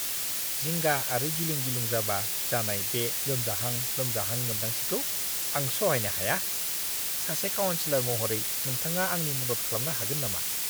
जिंगा आरो गिलुं-गिलुं जाबा जानाय बे लोमजाहां लोमजाहां मोनदांथिखौ आं सहायनो हाया; सासे काउनसिलर महरै, नोंथाङा आंनि मदद खालामनो हागोन नामा?